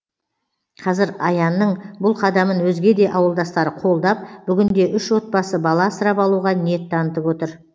қазір аянның бұл қадамын өзге де ауылдастары қолдап бүгінде үш отбасы бала асырап алуға ниет танытып отыр